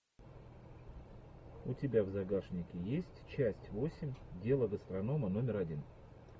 у тебя в загашнике есть часть восемь дело гастронома номер один